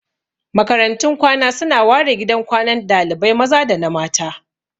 Makarantun kwana su na ware gidan kwanan dalibai maza da na mata